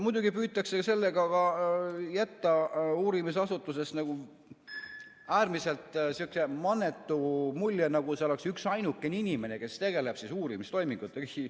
Muidugi püütakse sellega jätta uurimisasutusest äärmiselt mannetu mulje, nagu see oleks üksainukene inimene, kes tegeleb uurimistoimingutega.